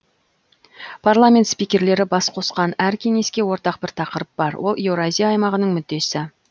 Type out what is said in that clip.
парламент спикерлері бас қосқан әр кеңеске ортақ бір тақырып бар ол еуразия аймағының мүддесі